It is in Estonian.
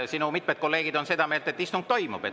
Sinu mitmed kolleegid on seda meelt, et istung toimub.